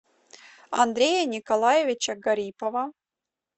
андрея николаевича гарипова